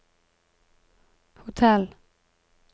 hotell